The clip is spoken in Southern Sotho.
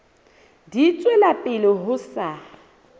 di tswela pele ho sa